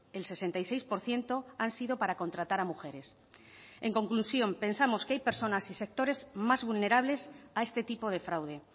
el sesenta y seis por ciento han sido para contratar a mujeres en conclusión pensamos que hay personas y sectores más vulnerables a este tipo de fraude